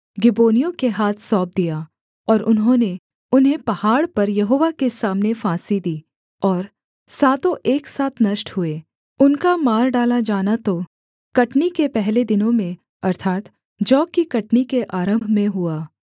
गिबोनियों के हाथ सौंप दिया और उन्होंने उन्हें पहाड़ पर यहोवा के सामने फांसी दी और सातों एक साथ नष्ट हुए उनका मार डाला जाना तो कटनी के पहले दिनों में अर्थात् जौ की कटनी के आरम्भ में हुआ